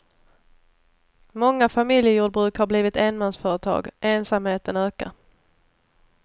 Många familjejordbruk har blivit enmansföretag, ensamheten ökar.